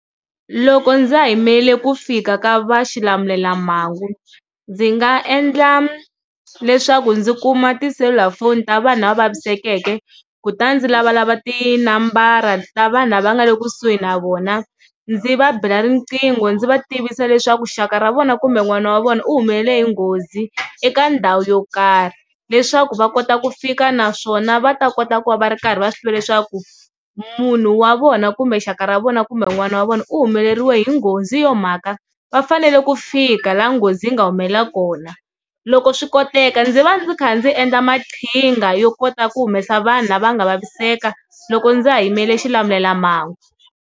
Loko ndza ha yimele ku fika ka va xilamulelamhangu ndzi nga endla leswaku ndzi kuma tiselulafoni ta vanhu lava vavisekeke kutani ndzi lavalava tinambara ta vanhu lava nga le kusuhi na vona ndzi va bela riqingho ndzi va tivisa leswaku xaka ra vona kumbe n'wana wa vona u humelela hi nghozi eka ndhawu yo karhi, leswaku va kota ku fika naswona va ta kota ku va va ri karhi va swi tiva leswaku munhu wa vona kumbe xaka ra vona kumbe n'wana wa vona u humeleriwe hi nghozi hi yo mhaka va fanele ku fika laha nghozi yi nga humelela kona, loko swi koteka ndzi va ndzi kha ndzi endla maqhinga yo kota ku humesa vanhu lava nga vaviseka loko ndza ha yimele xilamulelamhangu.